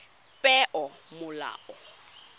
peomolao